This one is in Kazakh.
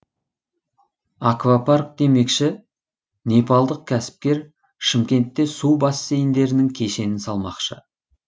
аквапарк демекші непалдық кәсіпкер шымкентте су бассейндерінің кешенін салмақшы